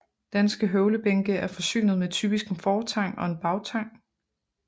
Danske høvlebænke er forsynet med typisk en fortang og en bagtang